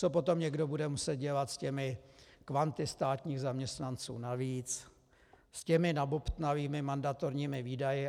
Co potom někdo bude muset dělat s těmi kvanty státních zaměstnanců navíc, s těmi nabobtnalými mandatorními výdaji?